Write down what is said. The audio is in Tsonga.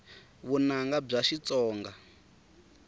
vunanga bya xitsonga